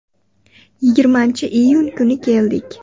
“Yigirmanchi (iyun) kuni keldik.